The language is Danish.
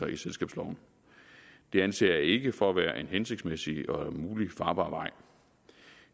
i selskabsloven det anser jeg ikke for at være en hensigtsmæssig og mulig farbar vej